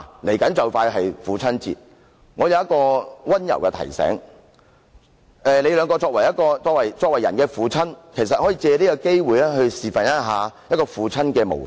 父親節快到了，我有一個溫馨提示，你們都為人父親，其實你們可以藉此機會作父親的模範。